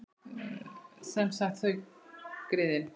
Sem sagt: þau, griðin.